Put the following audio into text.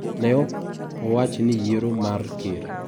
Ne ok owach ni yiero mar ker.